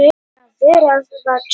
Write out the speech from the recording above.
Tóti hristi höfuðið.